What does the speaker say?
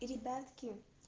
ребятки